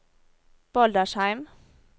Baldersheim